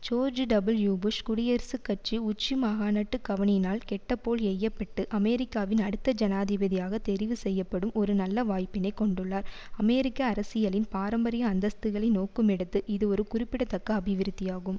George W. Bush குடியரசுக் கட்சி உச்சி மகாநாட்டுக்கு கவணினால் கெட்டப்போல் எய்யப்பட்டு அமெரிக்காவின் அடுத்த ஜனாதிபதியாக தெரிவு செய்யப்படும் ஒரு நல்ல வாய்ப்பினைக் கொண்டுள்ளார் அமெரிக்க அரசியலின் பாரம்பரிய அந்தஸ்துகளை நோக்குமிடத்து இது ஒரு குறிப்பிடத்தக்க அபிவிருத்தியாகும்